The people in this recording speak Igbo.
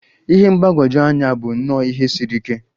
Ihe mgbagwoju anya bụ nnọọ ihe siri ike.